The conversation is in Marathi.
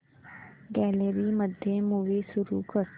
गॅलरी मध्ये मूवी सुरू कर